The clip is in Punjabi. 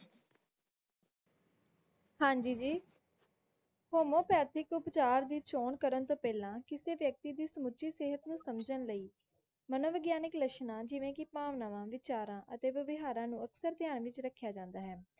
ਹਾਂਜੀ ਜੀ homeopathic ਉਪਚਾਰ ਦੀ ਚੋਣ ਕਰਨ ਤੋਂ ਪਹਿਲਾਂ ਕਿਸੇ ਵਿਅਕਤੀ ਦੀ ਸਮੁੱਚੀ ਸਿਹਤ ਨੂੰ ਸਮਝਣ ਲਈ ਮਨੋਵਿਗਿਆਨਿਕ ਲੱਛਣਾਂ ਜਿਵੇਂ ਕਿ ਭਾਵਨਾਵਾਂ, ਵਿਚਾਰਾਂ ਅਤੇ ਵਿਆਵਹਾਰਾਂ ਨੂੰ ਅਕਸਰ ਧਯਾਨ ਵਿਚ ਰੱਖਿਆ ਜਾਂਦਾ ਹੈ